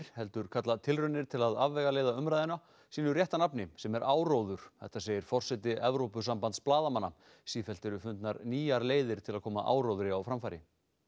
heldur kalla tilraunir til að afvegaleiða umræðuna sínu rétta nafni sem er áróður þetta segir forseti Evrópusambands blaðamanna sífellt eru fundnar nýjar leiðir til að koma áróðri á framfæri